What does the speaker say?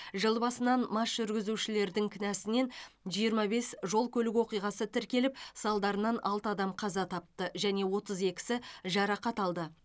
жыл басынан мас жүргізушілердің кінәсінен жиырма бес жол көлік оқиғасы тіркеліп салдарынан алты адам қаза тапты және отыз екісі жарақат алды